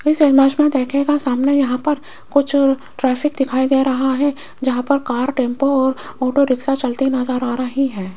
इस इमेज में देखीयेगा सामने यहां पर कुछ ट्रैफिक दिखाई दे रहा है जहां पर कार टेंपो और ऑटो रिक्शा चलती नजर आ रही है।